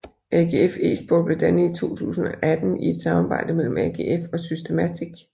AGF Esport blev dannet i 2018 i et samarbejde mellem AGF og Systematic